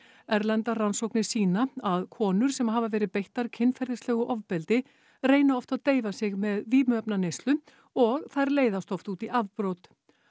erlendar rannsóknir sýna að konur sem hafa verið beittar kynferðislegu ofbeldi reyna oft að deyfa sig með vímuefnaneyslu og þær leiðast oft út í afbrot